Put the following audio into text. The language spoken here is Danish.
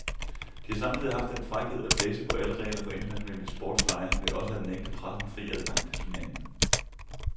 De har samtidig haft den frækhed at blæse på alle regler for internationale sportslege ved også at nægte pressen fri adgang til turneringen.